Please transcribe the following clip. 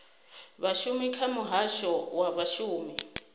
vhashumi kha muhasho wa vhashumi